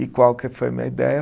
E qual que foi a minha ideia?